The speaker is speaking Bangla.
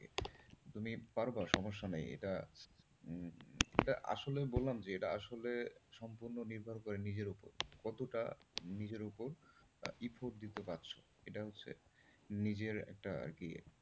তুমি পারবা সমস্যা নেই এটা এটা আসলে বললাম যে এটা আসলে সম্পূর্ণ নির্ভর করে নিজের ওপর কতটা নিজের ওপর effort দিতে পারছো, এটা হচ্ছে নিজের একটা আরকি।